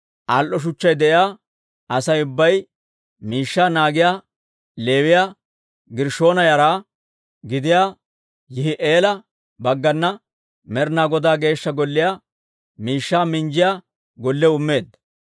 Al"o shuchchay de'iyaa Asay ubbay miishshaa naagiyaa Leewiyaa Gershshoona yara gidiyaa Yihi'eela baggana Med'inaa Godaa Geeshsha Golliyaa miishshaa minjjiyaa gollew immeedda.